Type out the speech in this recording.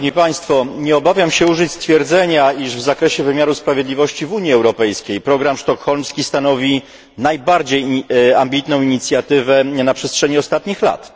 Nie obawiam się użyć stwierdzenia, iż w zakresie wymiaru sprawiedliwości w Unii Europejskiej program sztokholmski stanowi najbardziej ambitną inicjatywę na przestrzeni ostatnich lat.